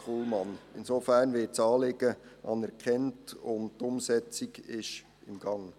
Insofern wird das Anliegen anerkannt, und die Umsetzung ist im Gange.